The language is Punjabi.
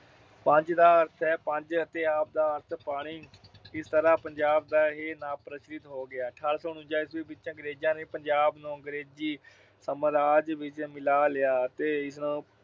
ਪੰਜ ਦਾ ਅਰਥ ਹੈ ਪੰਜ ਅਤੇ ਆਬ ਦਾ ਅਰਥ-ਪਾਣੀ। ਇਸ ਤਰ੍ਹਾਂ ਪੰਜਾਬ ਦਾ ਇਹ ਨਾਂ ਪ੍ਰਚਲਿਤ ਹੋ ਗਿਆ। ਅਠਾਰਾਂ ਸੌ ਉਨੰਜਾ ਈਸਵੀ ਵਿੱਚ ਪੰਜਾਬ ਨੂੰ ਅੰਗਰੇਜੀ ਸਾਮਰਾਜ ਵਿੱਚ ਮਿਲਾ ਲਿਆ ਅਤੇ ਇਸ